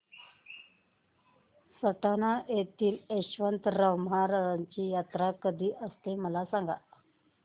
सटाणा येथील यशवंतराव महाराजांची यात्रा कशी असते मला सांग